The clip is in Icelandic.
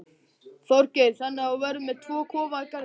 Þorgeir: Þannig að þú verður með tvo kofa í garðinum?